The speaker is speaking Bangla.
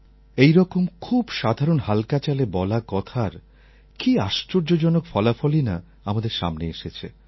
এইরকম খুব সাধারণ হাল্কা চালে বলা কথার কী আশ্চর্যজনক ফলাফলই না আমাদের সামনে এসেছে